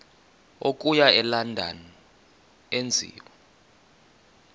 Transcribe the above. okuya elondon enziwe